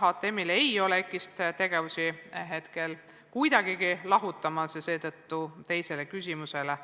HTM ei plaani praegu EKI-st tegevusi mitte kuidagi lahutada, seetõttu on sellele küsimusele